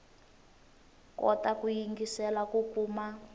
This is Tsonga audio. kota ku yingiselela ku kuma